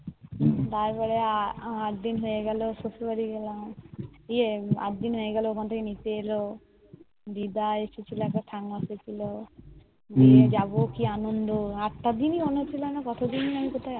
তার পরে আট দিন হয়ে গেল শ্বশুর বাড়ি গেলাম গিয়ে আট দিন হয় গেল ওখান থেকে নিতে এলো দিদা এসেছিলো একবার ঠাম্মা এসেছিলো যাবো কি আনন্দ আটটা দিন